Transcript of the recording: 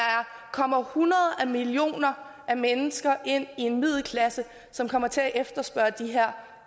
kommer hundreder af millioner af mennesker ind i en middelklasse som kommer til at efterspørge de her